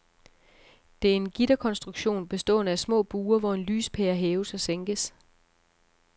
Det er en gitterkonstruktion bestående af små bure, hvor en lyspære hæves og sænkes.